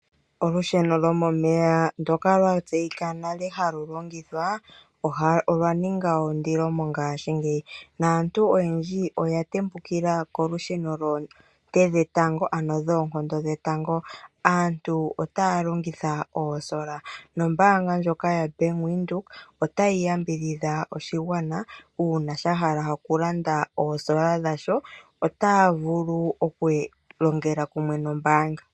Olusheno lwomomeya ndoka lwa tseyika nale halu longithwa olwa ninga ondilo mongashingeyi naantu oyendji oya tembukila kolusheno lwoonte dhetango, ano lwoonkondo dhetango. Aantu otaya longitha oosola nombaanga ndjoka yoBank Windhoek otayi yambidhidha oshigwana uuna sha hala okulanda oosola dha sho. Otaya vulu okulongela kumwe nombaanga.